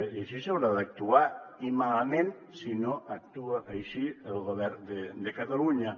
i així s’haurà d’actuar i malament si no actua així el govern de catalunya